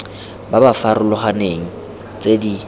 ba ba farologaneng tse di